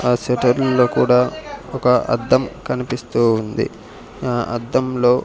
ఆ సెటర్లల్లో కూడా ఒక అద్దం కనిపిస్తూ ఉంది ఆ అద్దంలో --